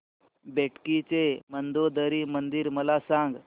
बेटकी चे मंदोदरी मंदिर मला सांग